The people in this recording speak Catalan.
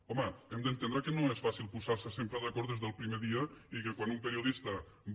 home hem d’entendre que no és fàcil posar se sempre d’acord des del primer dia i que quan un periodista va